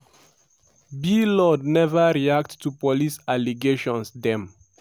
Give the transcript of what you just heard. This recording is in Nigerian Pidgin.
blord neva react to police allegations dem